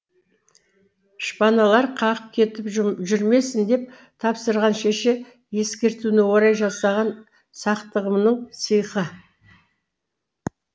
шпаналар қағып кетіп жүрмесін деп тапсырған шеше ескертуіне орай жасаған сақтығымның сиқы